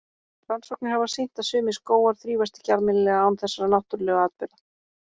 Rannsóknir hafa sýnt að sumir skógar þrífast ekki almennilega án þessara náttúrlegu atburða.